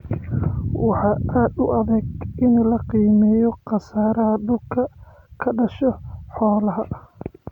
Waxaa aad u adag in la xakameeyo khasaaraha dhulka ka dhasha xoolaha.